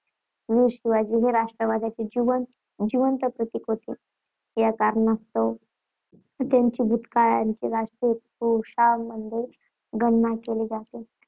वीर शिवाजी हे राष्ट्रवादाचे जिवंत जिवंत प्रतीक होते. या कारणास्तव त्यांची भूतकाळातील राष्ट्रीय पुरुषांमध्ये गणना केली जाते.